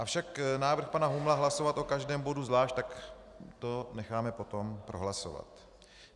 Avšak návrh pana Humla hlasovat o každém bodu zvlášť, tak to necháme potom prohlasovat.